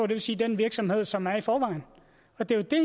vil sige den virksomhed som er der i forvejen og det er jo det